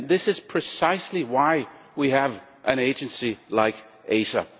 This is precisely why we have an agency like ACER.